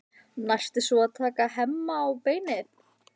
Næst er svo að taka Hemma á beinið.